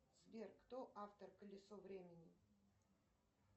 сбер кто автор колесо времени